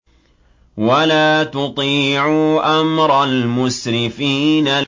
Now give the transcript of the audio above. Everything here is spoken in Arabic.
وَلَا تُطِيعُوا أَمْرَ الْمُسْرِفِينَ